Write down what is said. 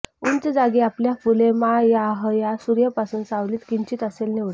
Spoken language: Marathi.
उंच जागी आपल्या फुले मा या ह या सूर्य पासून सावलीत किंचित असेल निवडा